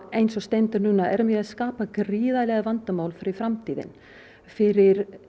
eins og stendur núna erum við að skapa gríðarleg vandamál fyrir framtíðina fyrir